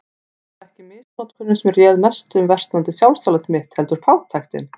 Það var ekki misnotkunin sem réð mestu um versnandi sjálfsálit mitt, heldur fátæktin.